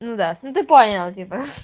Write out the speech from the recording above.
ну да ну ты поняла типо